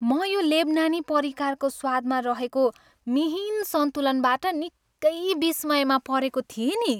म यो लेबनानी परिकारको स्वादमा रहेको मिहिन सन्तुलनबाट निकै विस्मयमा परेको थिएँ नि।